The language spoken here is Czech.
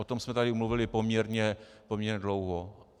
O tom jsme tady mluvili poměrně dlouho.